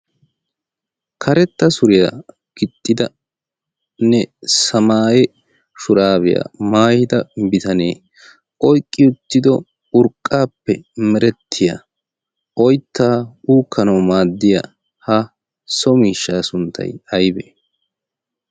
karetta suriyaa gixxidanne samaaye shuraabiyaa maayida bitanee oyqqi uttido urqqaappe merettiyaa oyttaa uukkanawu maaddiya ha so miishshaa sunttay aybee